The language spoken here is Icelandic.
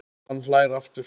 Hann hlær aftur.